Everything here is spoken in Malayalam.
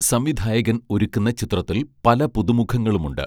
സംവിധായകൻ ഒരുക്കുന്ന ചിത്രത്തിൽ പല പുതുമുഖങ്ങളുമുണ്ട്